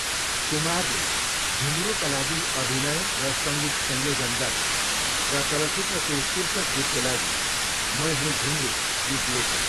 कुमारले झुम्रुका लागि अभिनय र सङ्गीत संयोजन गरे, र चलचित्रको शीर्षक गीतको लागि मैं हूं झुम्रू गीत लेखे।